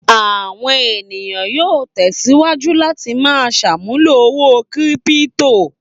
Àwọn ènìyàn yóò tẹ̀síwájú láti máa ṣàmúlò owó kírípító.